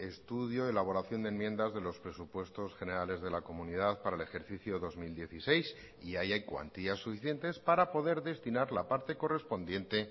estudio elaboración de enmiendas de los presupuestos generales de la comunidad para el ejercicio dos mil dieciséis y ahí hay cuantías suficientes para poder destinar la parte correspondiente